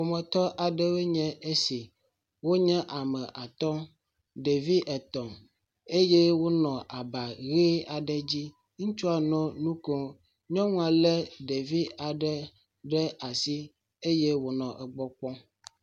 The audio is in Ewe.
Ƒometɔ aɖewoe nye esi wonye ame atɔ̃. Ɖevi etɔ̃ eye wonɔ aba ʋe aɖe dzi. Ŋutsua nɔ nu kom. Nyɔnua le ɖevi aɖe ɖe asi eye wonɔ egbɔ kpɔm.